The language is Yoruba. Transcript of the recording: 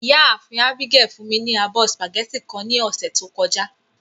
Iyaafin Abigail fun mi ni abọ spaghetti kan ni ọsẹ to kọja.